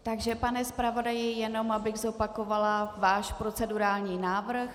Takže pane zpravodaji, jenom abych zopakovala váš procedurální návrh.